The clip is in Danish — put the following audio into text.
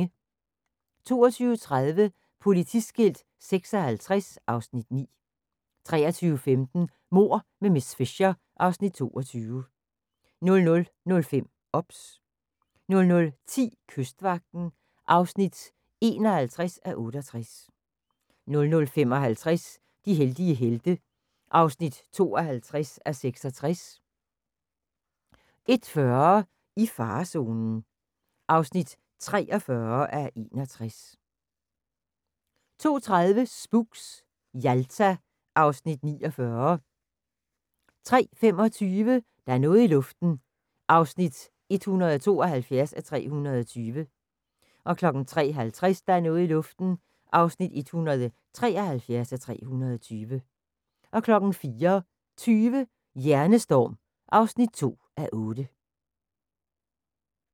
22:30: Politiskilt 56 (Afs. 9) 23:15: Mord med miss Fisher (Afs. 22) 00:05: OBS 00:10: Kystvagten (51:68) 00:55: De heldige helte (52:66) 01:40: I farezonen (43:61) 02:30: Spooks: Jalta (Afs. 49) 03:25: Der er noget i luften (172:320) 03:50: Der er noget i luften (173:320) 04:20: Hjernestorm (2:8)